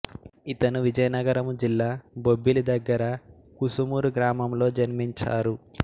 ఇతను విజయనగరము జిల్ల బొబ్బిలి దగ్గర కుసుమూరు గ్రామము లొ జన్మించారు